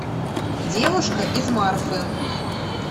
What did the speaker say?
девушка из марфы